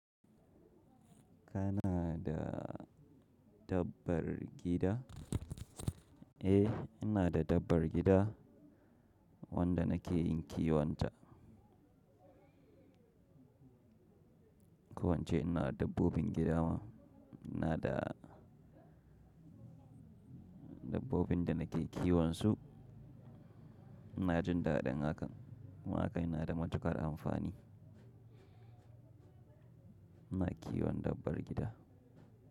Kana da dabbar gida? Eh, ina da dabbar gida wanda nake yin kiyon ta. Ko ince ina da dabbobin gida ma, ina da dabbobin da nake kiwon su. Ina jin dadin hakan. Kuma haka yana da matukar amfani. Ina kiwon dabbar gida.